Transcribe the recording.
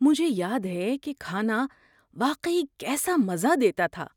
مجھے یاد ہے کہ کھانا واقعی کیسا مزہ دیتا تھا۔